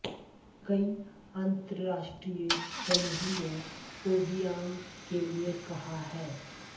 कई अंतरराष्ट्रीय समूहों ने ओबियांग के लिए कहा है